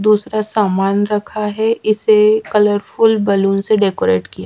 दूसरा सामान रखा है इसे कलरफुल बलून से डेकोरेट किया--